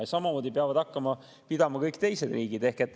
Ja samamoodi peavad hakkama neist kinni pidama kõik teised riigid.